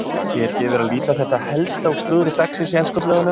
Hér gefur að líta það helsta úr slúðri dagsins í ensku blöðunum.